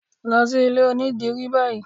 Lọ sí ilé onídìrí báyìí!